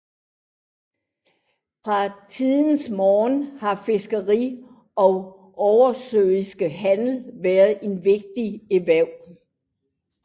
Fra tidernes morgen har fiskeri og oversøisk handel været de vigtigste erhverv